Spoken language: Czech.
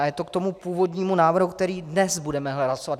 A je to k tomu původnímu návrhu, který dnes budeme hlasovat.